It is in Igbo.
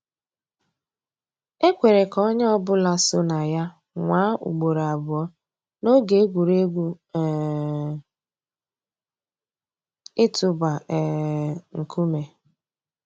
É kwèré kà ónyé ọ̀ bụ́là só nà yà nwáá ùgbòró àbụ́ọ́ n'óge ègwùrégwú um ị̀tụ́bà um nkúmé.